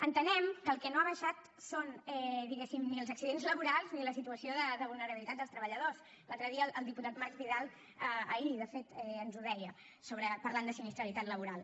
entenem que el que no han baixat són diguéssim ni els accidents laborals ni la situació de vulnerabilitat dels treballadors l’altre dia el diputat marc vidal ahir de fet ens ho deia parlant de sinistralitat laboral